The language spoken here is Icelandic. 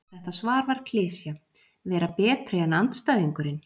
Þetta svar var klisja: Vera betri en andstæðingurinn.